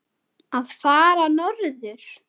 að fara norður?